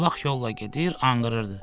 Ulaq yolla gedir, anqırırdı.